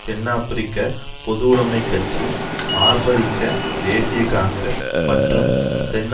தென் ஆபிரிக்க பொதுவுடைமைக் கட்சி ஆபரிக்க தேசிய காங்கிரஸ் மற்றும் தென்